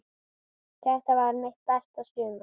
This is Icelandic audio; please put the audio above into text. Þetta varð mitt besta sumar.